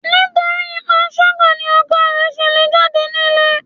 Nítorí panṣágà ni ọkọ rẹ̀ ṣe le jáde nílé.